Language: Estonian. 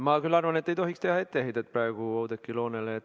Ma küll arvan, et ei tohiks teha etteheidet praegu Oudekki Loonele.